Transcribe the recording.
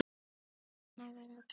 Nú er hún glöð.